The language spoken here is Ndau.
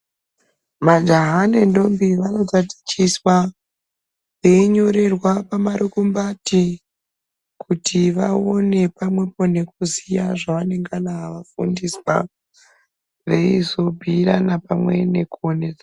Maja nendombi vanotatichiswa, veinyorerwa pamarukumbati kuti vaone pamwepo nekuziya zvevanengana vafundiswa veizobhuirana pamwe nekuone.